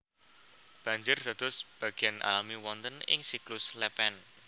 Banjir dados bagéan alami wonten ing siklus lèpèn